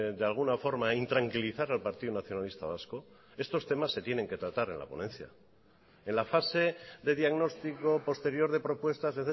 de alguna forma intranquilizar al partido nacionalista vasco estos temas se tienen que tratar en la ponencia en la fase de diagnóstico posterior de propuestas